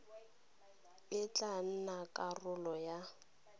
e tla nna karolo ya